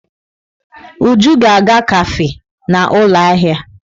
Uju ga-aga kafe na ụlọ ahịa.